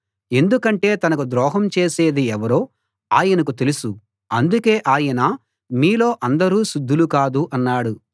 ఎందుకంటే తనకు ద్రోహం చేసేది ఎవరో ఆయనకు తెలుసు అందుకే ఆయన మీలో అందరూ శుద్ధులు కాదు అన్నాడు